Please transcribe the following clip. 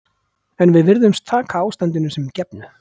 En við virðumst taka ástandinu sem gefnu.